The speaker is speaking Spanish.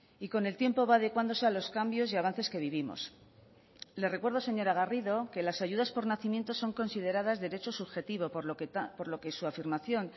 y con el tiempo va adecuándose a los cambios y avances que vivimos le recuerdo señora garrido que las ayudas por nacimiento son consideradas derecho subjetivo por lo que su afirmación